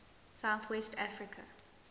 south west africa